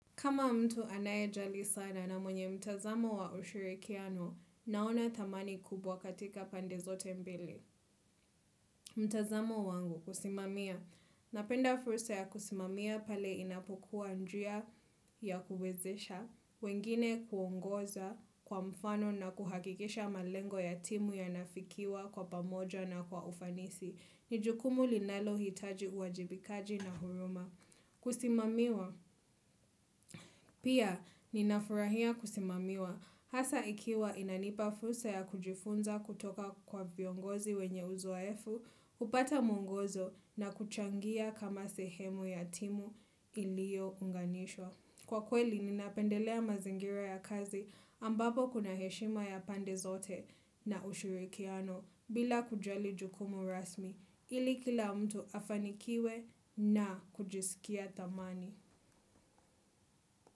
Kama mtu anayejali sana na mwenye mtazamo wa ushirikiano, naona dhamani kubwa katika pande zote mbili. Mtazamo wangu, husimamia. Napenda fursa ya kusimamia pale inapokuwa njia ya kuwezesha, wengine kuongoza kwa mfano na kuhakikisha malengo ya timu yanaafikiwa kwa pamoja na kwa ufanisi. Ni jukumu linalo hitaji uhajibikaji na huruma. Kusimamiwa, pia ninafurahia kusimamiwa hasa ikiwa inanipa fursa ya kujifunza kutoka kwa viongozi wenye uzoefu, hupata mwongozo na kuchangia kama sehemu ya timu iliyo unganishwa. Kwa kweli, ninapendelea mazingira ya kazi ambapo kuna heshima ya pande zote na ushirikiano bila kujali jukumu rasmi ili kila mtu afanikiwe na kujisikia dhamani.